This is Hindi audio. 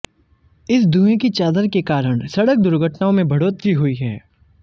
इस धुएं की चादर के कारण सड़क दुर्घटनाओं में बढ़ोतरी हुई है